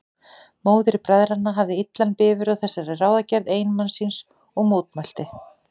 Móðir bræðranna hafði illan bifur á þessari ráðagerð eiginmanns síns og mótmælti.